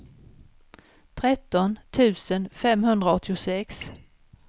tretton tusen femhundraåttiosex